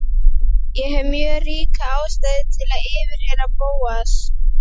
Ég hef mjög ríka ástæðu til að yfirheyra Bóas.